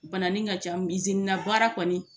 Banani ka ca na baara kɔni